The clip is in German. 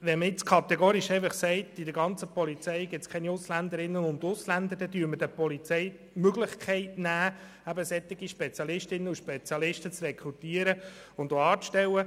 Wenn man kategorisch alle Ausländerinnen und Ausländer aus der Polizeiarbeit ausschliesst, nehmen wir der Polizei Möglichkeiten, solche Spezialistinnen und Spezialisten zu rekrutieren und anzustellen.